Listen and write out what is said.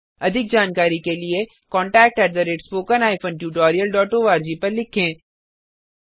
अधिक जानकारी के लिए contactspoken tutorialorg पर लिखें